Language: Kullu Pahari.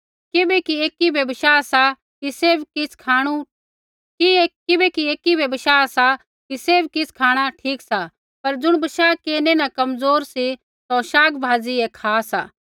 किबैकि एकी बै बशाह सा कि सैभ किछ़ खाँणा ठीक सा पर ज़ुण बशाह केरनै न कमज़ोर सा सौ शागभाजी ऐ खा सा